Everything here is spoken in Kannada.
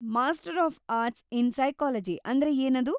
Master of arts in psychology ಅಂದ್ರೆ ಏನದು?